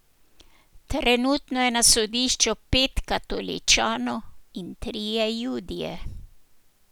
Trenutno je na sodišču pet katoličanov in trije judje.